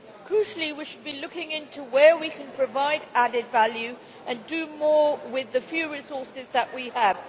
Crucially, we should be looking into where we can provide added value and do more with the few resources that we have.